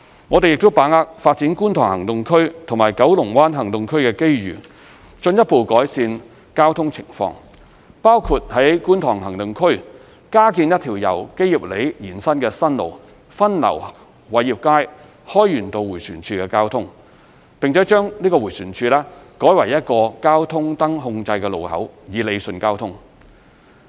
我們亦把握發展觀塘行動區及九龍灣行動區的機遇，進一步改善交通情況，包括在觀塘行動區加建一條由基業里延伸的新路，分流偉業街/開源道迴旋處的交通，並把該迴旋處改為一個交通燈控制路口以理順交通。